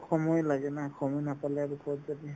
সময় লাগে না সময় নাপালে আৰু ক'ত যাবি